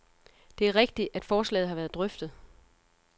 Det er rigtigt, at forslaget har været drøftet.